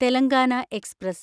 Telangana express